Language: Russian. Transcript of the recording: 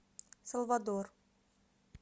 салвадор